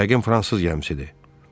Yəqin fransız gəmisidir.